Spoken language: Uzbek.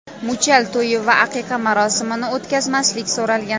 Muchal to‘yi va aqiqa marosimini o‘tkazmaslik so‘ralgan.